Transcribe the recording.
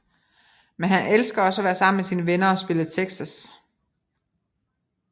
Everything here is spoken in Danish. Men han elsker også at være sammen med sine venner og spille Texas